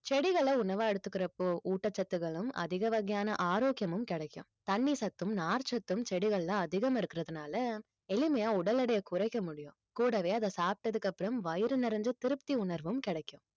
செடிகளை உணவா எடுத்துக்கிற அப்போ ஊட்டச்சத்துக்களும் அதிக வகையான ஆரோக்கியமும் கிடைக்கும் தண்ணி சத்தும் நார்ச்சத்தும் செடிகள்ல அதிகம் இருக்கிறதுனால எளிமையா உடல் எடையை குறைக்க முடியும் கூடவே அதை சாப்பிட்டதுக்கு அப்புறம் வயிறு நிறைஞ்ச திருப்தி உணர்வும் கிடைக்கும்